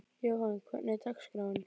Jóhann, hvernig er dagskráin?